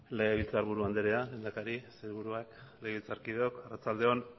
legebiltzarburu anderea lehendakari sailburuak legebiltzarkideok arratsalde on